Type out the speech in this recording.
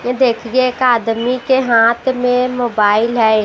ये देखिए एक आदमी के हाथ में मोबाइल है।